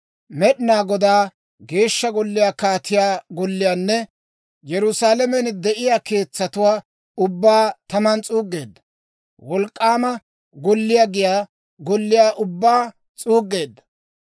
Med'inaa Godaa Geeshsha Golliyaa, kaatiyaa golliyaanne Yerusaalamen de'iyaa keetsatuwaa ubbaa taman s'uuggeedda; wolk'k'aama golliyaa giyaa golliyaa ubbaa s'uuggeedda.